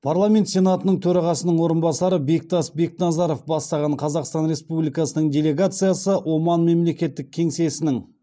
парламент сенатының төрағасының орынбасары бектас бекназаров бастаған қазақстан республикасының делегациясы оман мемлекеттік кеңсесінің